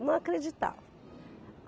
Não acreditava.